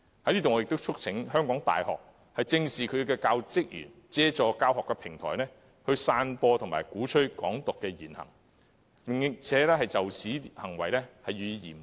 我在此亦促請香港大學正視教職員透過教學平台，散播及鼓吹"港獨"言行，並嚴正處理這種行為。